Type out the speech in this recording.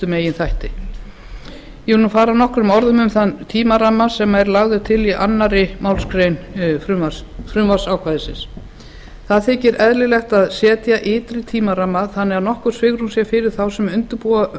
meginþætti ég fer nú nokkrum orðum um þann tímaramma sem er lagður til í annarri málsgrein frumvarpsákvæðisins það þykir eðlilegt að setja ytri tímaramma þannig að nokkurt svigrúm sé fyrir þá sem